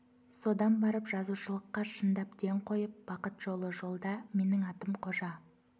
содан барып жазушылыққа шындап ден қойып бақыт жолы жолда менің атым қожа